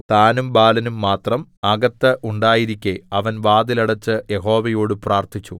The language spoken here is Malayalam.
താനും ബാലനും മാത്രം അകത്ത് ഉണ്ടായിരിക്കെ അവൻ വാതിൽ അടെച്ച് യഹോവയോട് പ്രാർത്ഥിച്ചു